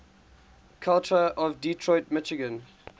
culture of detroit michigan